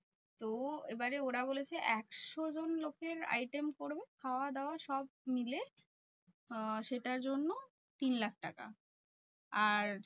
তো এবারে ওরা বলেছে একশোজন লোকের item পরবে খাওয়া দাওয়া সব মিলে আহ সেটার জন্য তিনলাখ টাকা। আর